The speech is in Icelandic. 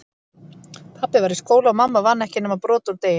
Pabbi var í skóla, og mamma vann ekki nema brot úr degi